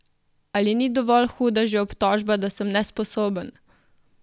Ali ni dovolj huda že obtožba, da sem nesposoben?